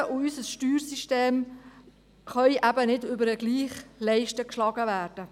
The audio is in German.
Versicherungen und unser Steuersystem können eben nicht über denselben Leisten geschlagen werden.